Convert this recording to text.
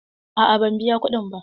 A'a ban biya kuɗin ba.